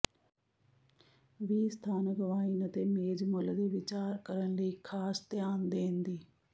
ਵੀ ਸਥਾਨਕ ਵਾਈਨ ਅਤੇ ਮੇਜ਼ ਮੁੱਲ ਦੇ ਵਿਚਾਰ ਕਰਨ ਲਈ ਖਾਸ ਧਿਆਨ ਦੇਣ ਦੀ